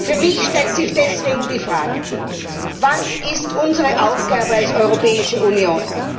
Für mich stellt sich deshalb die Frage Was ist unsere Aufgabe als Europäische Union?